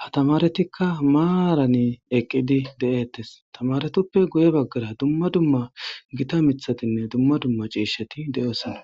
ha tamaretikka maarani eqqidi de7ettes tamaretoppe guye baggara dumma dumma gita mithatinne dumma dumma ciishati de'osana.